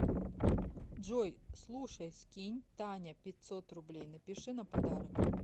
джой слушай скинь таня пятьсот рублей напиши на подарок